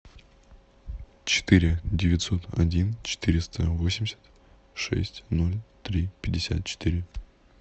четыре девятьсот один четыреста восемьдесят шесть ноль три пятьдесят четыре